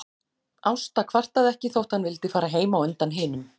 Ásta kvartaði ekki þótt hann vildi fara heim á undan hinum.